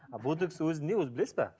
а ботекс өзі не өзі білесіз бе